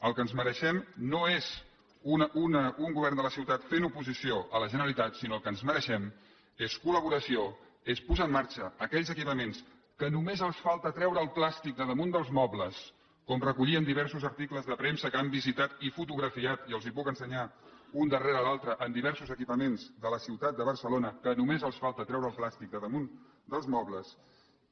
el que ens mereixem no és un govern de la ciutat fent oposició a la generalitat sinó que el que ens mereixem és col·laboració és posar en marxa aquells equipaments que només els falta treure el plàstic de damunt dels mobles com recollien diversos articles de premsa que han visitat i fotografiat i els els puc ensenyar un darrere l’altre en diversos equipaments de la ciutat de barcelona que només els falta treure el plàstic de damunt dels mobles